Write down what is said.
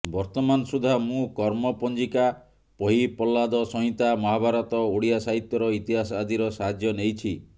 ବର୍ତ୍ତମାନ ସୁଦ୍ଧା ମୁଁ କର୍ମ ପଞ୍ଜିକା ପହିପଲ୍ଲାଦ ସଂହିତା ମହାଭାରତ ଓଡ଼ିଆ ସାହିତ୍ୟର ଇତିହାସ ଆଦିର ସାହାଯ୍ୟ ନେଇଛି